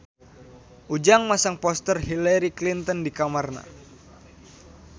Ujang masang poster Hillary Clinton di kamarna